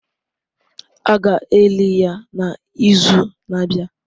A ga-eli ya n'izu na-abịa.